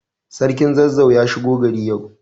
Sarkin Zazzau ya shigo gari yau.